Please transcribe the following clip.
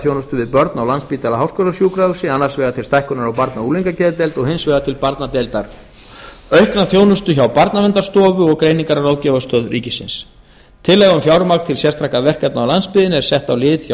þjónustu við börn á landspítala háskólasjúkrahúsi annars vegar til stækkunar á barna og unglingageðdeild og hins vegar til barnadeildar og um aukna þjónustu hjá barnaverndarstofu og greiningar og ráðgjafarstöð ríkisins tillaga um fjármagn til sérstakra verkefna á landsbyggðinni er sett á lið hjá